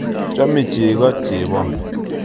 Chome cheko chebon